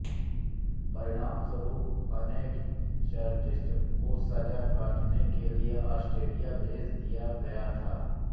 परिणामस्वरूप अनेक चार्टिस्ट को सजा काटने के लिए आस्ट्रेलिया भेज दिया गया था